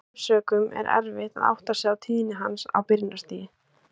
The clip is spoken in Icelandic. Af þeim sökum er erfitt að átta sig á tíðni hans á byrjunarstigi.